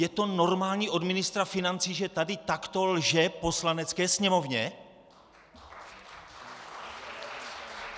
Je to normální od ministra financí, že tady takto lže Poslanecké sněmovně?